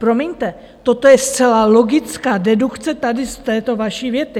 Promiňte, toto je zcela logická dedukce tady z této vaší věty.